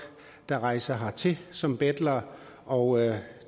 der rejser hertil som betlere og